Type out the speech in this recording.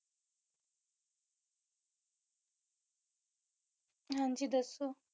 ਹਾਂਜੀ ਦੱਸੋ